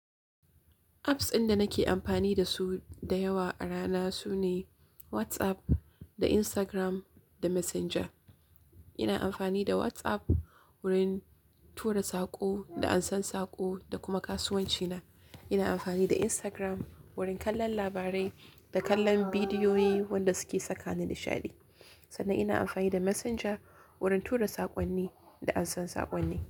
Apps inda nake amfani da su da yawa a rana sune WhatsApp da Instagram da Messenger. Ina amfani da WhatsApp wurin tura saƙo da an san saƙo da kuma kasuwanci na. Ina amfani da Instagram wurin kallon labarai da kallon bidiyoyi wanda suke saka ni nishaɗi. Sannan ina amfani da Messenger wurin tura saƙonni da an san saƙonni.